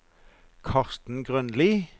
Karsten Grønli